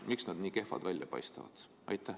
Miks nad nii kehvad välja paistavad?